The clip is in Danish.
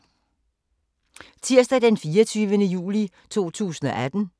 Tirsdag d. 24. juli 2018